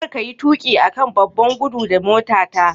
Kar kayi tuƙi a kan babban gudu da motata.